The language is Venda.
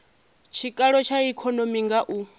tshikalo tsha ikonomi nga u